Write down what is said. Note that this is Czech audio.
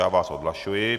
Já vás odhlašuji.